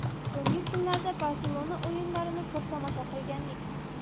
So‘nggi kunlarda ‘Barselona’ o‘yinlarini ko‘p tomosha qilgandik.